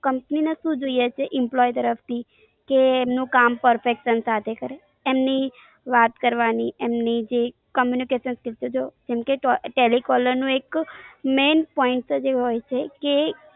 Company ને શું જોઈએ છે employ તરફ થી કે એમનું કામ perfection સાથે કરે. એમની વાત કરવાની એમની જે communication skill છે તો telecaller નું એક main point જ એ હોય છે કે એ